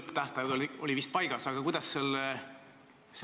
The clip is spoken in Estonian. Aga nüüd hakkavad eri riikide maksuhaldurid vaidlema ja siis tulevad veel need nõuandekomisjonid.